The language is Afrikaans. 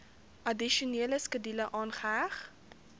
addisionele skedule aangeheg